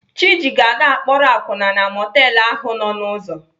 Chiji ga-aga akpọrọ akwụna na mọtelụ ahụ nọ n'ụzọ.